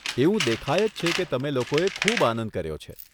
એવું દેખાય જ છે કે તમે લોકોએ ખૂબ આનંદ કર્યો છે.